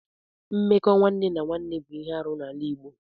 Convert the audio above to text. Mmekọ nwanne na nwanne bụ ihe arụ n'ala Igbo.